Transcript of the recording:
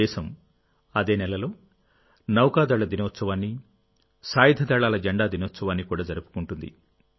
దేశం అదే నెలలో నౌకా దళ దినోత్సవాన్నిసాయుధ దళాల జెండా దినోత్సవాన్ని కూడా జరుపుకుంటుంది